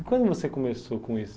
E quando você começou com isso?